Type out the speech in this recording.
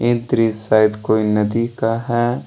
ये दृश शायद कोई नदी का है।